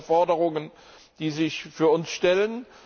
Das ist eine der Forderungen, die sich für uns stellen.